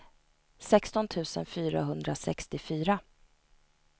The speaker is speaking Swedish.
sexton tusen fyrahundrasextiofyra